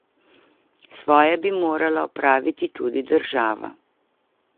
Svoje bi morala opraviti tudi država.